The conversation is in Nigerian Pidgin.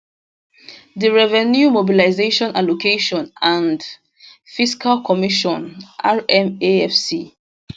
di revenue mobilisation allocation and fiscal commission rmafc